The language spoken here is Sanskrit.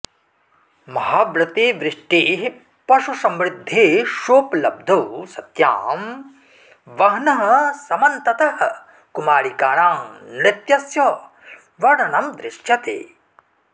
महाव्रते वृष्टेः पशुसमृद्धेश्वोपलब्धो सत्यां वह्नः समन्ततः कुमारिकाणां नृत्यस्य वर्णनं दृश्यते